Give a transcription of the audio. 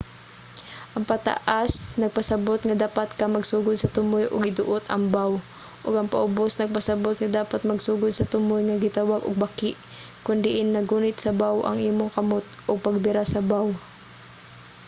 ang pataas nagpasabot nga dapat ka magsugod sa tumoy ug iduot ang bow ug ang paubos nagpasabot nga dapat magsugod sa tumoy nga gitawag og baki kon diin naggunit sa bow ang imong kamot ug pagbira sa bow